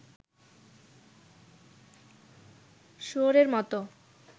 শুয়োরের মত